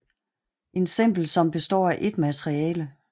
En simpel som består af ét materiale